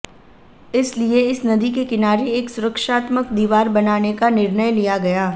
इसलिए इस नदी के किनारे एक सुरक्षात्मक दीवार बनाने का निर्णय लिया गया